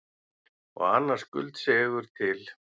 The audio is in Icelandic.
Og annar skuldseigur til.